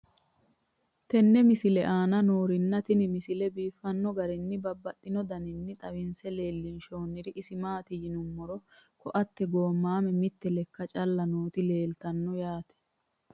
tenne misile aana noorina tini misile biiffanno garinni babaxxinno daniinni xawisse leelishanori isi maati yinummoro koate goomame mitte lekka calla nootti leelittanno yaatte